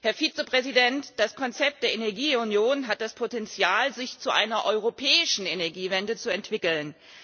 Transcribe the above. Herr Vizepräsident, das Konzept der Energieunion hat das Potenzial, sich zu einer europäischen Energiewende zu entwickeln.